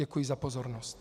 Děkuji za pozornost.